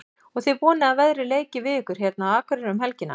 Og þið vonið að veðrið leiki við ykkur hérna á Akureyri um helgina?